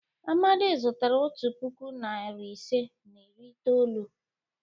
Amadi zụtara otu puku, narị ise na iri itoolu.